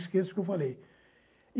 Esqueça o que eu falei.